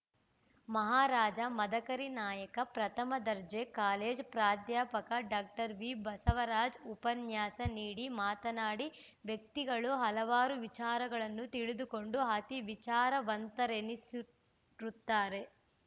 ಮಹಾರಾಜ ಮದಕರಿ ನಾಯಕ ಪ್ರಥಮ ದರ್ಜೆ ಕಾಲೇಜ್‌ ಪ್ರಾಧ್ಯಾಪಕ ಡಾಕ್ಟರ್ ವಿಬಸವರಾಜ್‌ ಉಪನ್ಯಾಸ ನೀಡಿ ಮಾತನಾಡಿ ವ್ಯಕ್ತಿಗಳು ಹಲವಾರು ವಿಚಾರಗಳನ್ನು ತಿಳಿದುಕೊಂಡು ಅತೀ ವಿಚಾರವಂತರೆನಿಸಿರುತ್ತಾರೆ